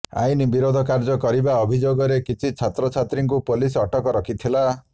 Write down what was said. ଆଇନ ବିରୋଧ କାର୍ଯ୍ୟ କରିବା ଅଭିଯୋଗରେ କିଛି ଛାତ୍ରଛାତ୍ରୀଙ୍କୁ ପୋଲିସ୍ ଅଟକ ରଖିଥିଲା